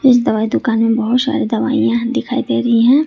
इस दवाई दुकान में बहुत सारी दवाइयां दिखाई दे रही है।